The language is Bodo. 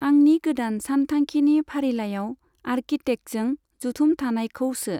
आंंनि गोदान सानथांखिनि फारिलाइआव आर्किटेक्टजों जथुम थानायखौ सो।